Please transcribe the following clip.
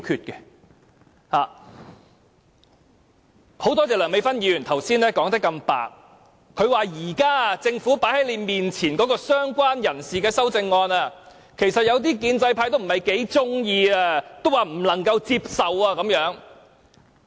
我很感謝梁美芬議員剛才說得如此坦白，她說現時政府放在他們面前的"相關人士"的修正案，有些建制派其實不太喜歡，不能夠接受。